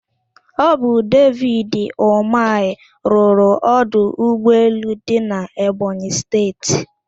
Ọ bụ David Ụmahị rụrụ ọdụ ụgbọelu dị n'Ebonyị Steeti.